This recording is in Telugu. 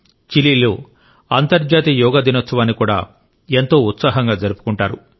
చిలీలో అంతర్జాతీయ యోగా దినోత్సవాన్ని కూడా ఎంతో ఉత్సాహంగా జరుపుకుంటారు